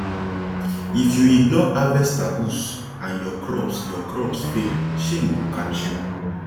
if you ignore harvest taboos and your crops your crops fail shame go catch you